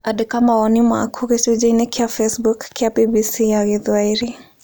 Andĩka mawoni maku gĩcunjĩ-inĩ kĩa Facebook kĩa BBC ya Gĩthwaĩri.